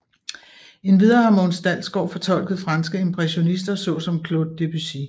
Endvidere har Mogens Dalsgaard fortolket franske impressionister såsom Claude Debussy